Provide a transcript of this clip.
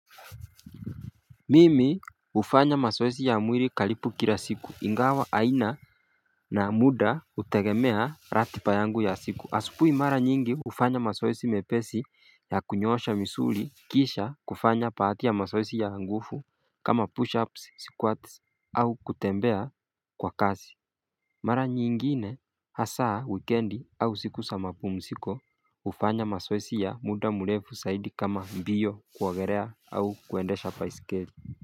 Mimi ufanya masoesi ya mwili karibu kila siku ingawa aina na muda utegemea ratiba yangu ya siku asubui mara nyingi ufanya masoesi mepesi ya kunyosha misuli Kisha kufanya baadhi ya masoesi ya nguvu kama push ups sikuwa tisi au kutembea kwa kazi Mara nyingine hasaa wikendi au siku sa mapumziko. Ufanya masoesi ya muda murefu saidi kama mbiyo kuogelea au kuendesha baisikeli.